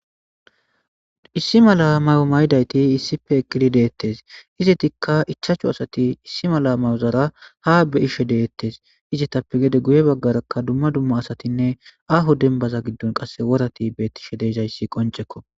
Issi mala mayo mayidayti issipe eqqidi deettes. Izatikka ichachu asati issi mala mayozara ha be'ishe deettes. Izatappe gede guye baggarakka dumma dumma asatinne aho dembaza giddon qasse worati bettishe de'iza issi qoncekko.